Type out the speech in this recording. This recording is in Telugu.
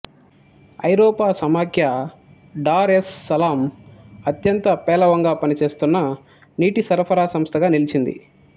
ఐరోపా సమాఖ్య డార్ ఎస్ సలాం అత్యంత పేలవంగా పనిచేస్తున్న నీటిసరఫరా సంస్థగా నిలిచింది